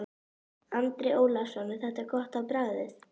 Andri Ólafsson: Er þetta gott á bragðið?